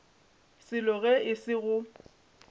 selo ge e se go